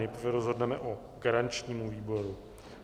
Nejprve rozhodneme o garančním výboru.